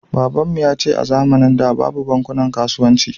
Kakanmu yace a zamanin da babu bankunan kasuwanci